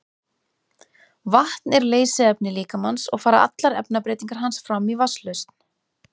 Vatn er leysiefni líkamans og fara allar efnabreytingar hans fram í vatnslausn.